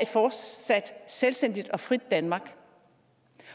et fortsat selvstændigt og frit danmark